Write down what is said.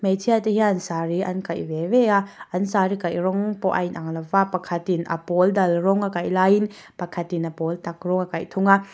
hmeichhia te hian saree an kaih ve ve a an saree kaih rawng pawh a inang lo va pakhat in a pawl dal rang a kaih laiin pakhat in a pawl tak rawng a kaih thung a.